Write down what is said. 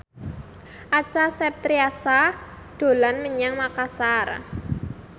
Acha Septriasa dolan menyang Makasar